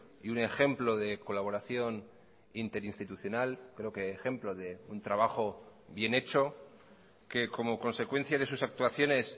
y un ejemplo de colaboración interinstitucional creo que ejemplo de un trabajo bien hecho que como consecuencia de sus actuaciones